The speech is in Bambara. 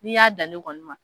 N'i y'a da ne kɔni ma.